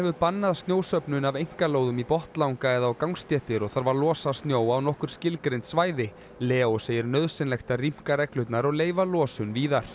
bannað snjósöfnun af einkalóðum í botnlanga eða á gangstéttir og þarf að losa snjó á nokkur skilgreind svæði Leó segir nauðsynlegt að rýmka reglurnar og leyfa losun víðar